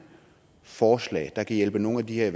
forslag der kan hjælpe nogle af de her